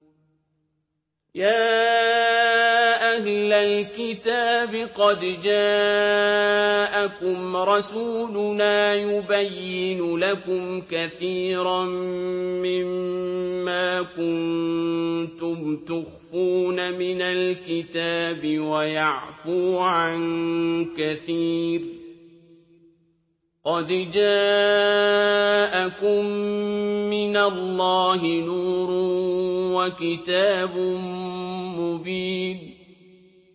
يَا أَهْلَ الْكِتَابِ قَدْ جَاءَكُمْ رَسُولُنَا يُبَيِّنُ لَكُمْ كَثِيرًا مِّمَّا كُنتُمْ تُخْفُونَ مِنَ الْكِتَابِ وَيَعْفُو عَن كَثِيرٍ ۚ قَدْ جَاءَكُم مِّنَ اللَّهِ نُورٌ وَكِتَابٌ مُّبِينٌ